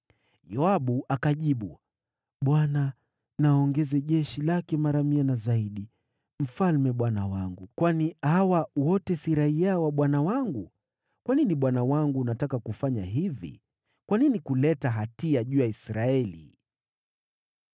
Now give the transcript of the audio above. Yoabu akajibu, “ Bwana na aongeze jeshi lake mara mia na zaidi. Mfalme bwana wangu, kwani hawa wote si raiya wa bwana wangu? Kwa nini bwana wangu unataka kufanya hivi? Kwa nini kuleta hatia juu ya Israeli?”